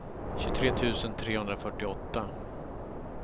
tjugotre tusen trehundrafyrtioåtta